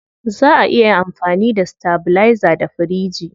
Zaa a iya amfani da stabilizer da firiji.